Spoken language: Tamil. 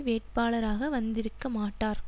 வேட்பாளராக வந்திருக்க மாட்டார்